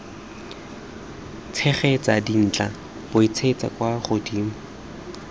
tshegetsa dintlha buisetsa kwa godimo